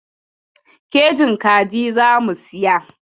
Kejin kaji za mu siya.